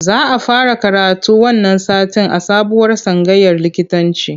Za a fara karatu wannan satin a sabuwar tsangayar likitanci